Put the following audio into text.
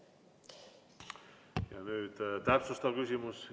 Ja nüüd täpsustav küsimus.